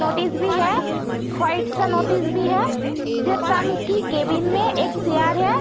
Notice भी है। सा नोटिस भी है। की केबिन में एक चेयर है।